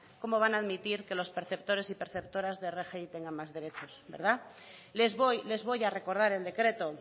cómo van a admitir que los perceptores y perceptoras de rgi tengan más derechos les voy a recordar el decreto